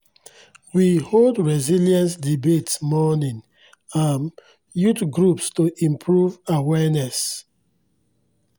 we hold resilience debates among um youth groups to improve awareness